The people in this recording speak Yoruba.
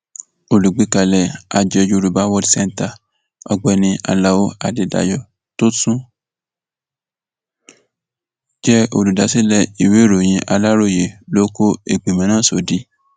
olùgbékalẹ àjọ yorùbá world centre ọgbẹni alao adédáyò tó tún jẹ olùdásílẹ ìwéèròyìn aláròye ló kó ìgbìmọ náà sódì